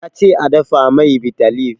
Ya ce a dafa mai bitter leave.